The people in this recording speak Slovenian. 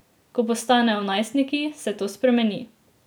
Ko postanejo najstniki, se to spremeni.